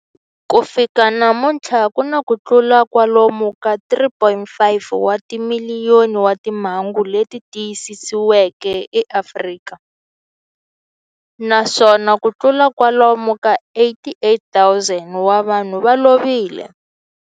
Ku fika namuntlha ku na kutlula kwalomu ka 3.5 wa timiliyoni wa timhangu leti tiyisisiweke eAfrika, naswona kutlula kwalomu ka 88,000 wa vanhu va lovile.